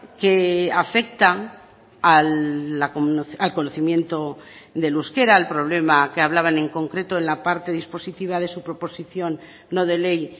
que afecta al conocimiento del euskera al problema que hablaban en concreto en la parte dispositiva de su proposición no de ley